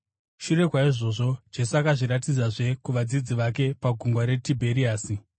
Shure kwaizvozvo Jesu akazviratidzazve kuvadzidzi vake, paGungwa reTibheriasi.